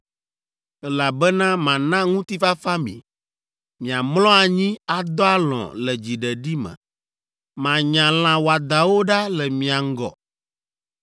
elabena mana ŋutifafa mi. Miamlɔ anyi, adɔ alɔ̃ le dziɖeɖi me. Manya lã wɔadãwo ɖa le mia ŋgɔ.